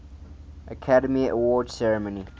academy awards ceremony